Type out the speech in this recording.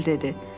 Emil dedi.